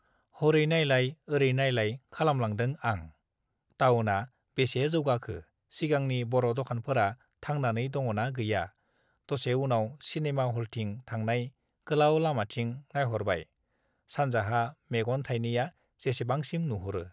हरै नायलाय ओरै नायलाय खालामलांदों आं टाउना बेसे जौगाखो सिगांनि बरदखानफोरा थांनानै दङना गैया दसे उनाव सिनेमा हलथिं थांनाय गोलाउ लामाथिं नायहरबाय सानजाहा मेगन थाइनैया जेसेबांसिम नुहरो